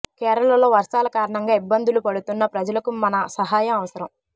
కేరళలో వర్షాల కారణంగా ఇబ్బందులు పడుతున్న ప్రజలకు మన సహాయం అవసరం